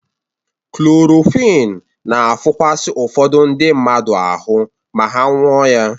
Klorokwin na-afụkasị ụfọdụ ndị mmadụ ahụ ma ha nụọ ya.